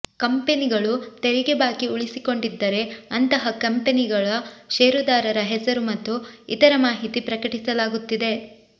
ಕಂಪೆನಿಗಳು ತೆರಿಗೆ ಬಾಕಿ ಉಳಿಸಿಕೊಂಡಿದ್ದರೆ ಅಂತಹ ಕಂಪೆನಿಗಳ ಷೇರುದಾರರ ಹೆಸರು ಮತ್ತು ಇತರ ಮಾಹಿತಿ ಪ್ರಕಟಿಸಲಾಗುತ್ತಿದೆ